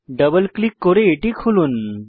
double click করে এটি খুলুন